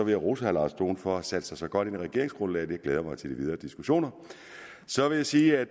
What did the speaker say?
jeg rose herre lars dohn for at have sat sig så godt ind i regeringsgrundlaget jeg glæder mig til de videre diskussioner så vil jeg sige at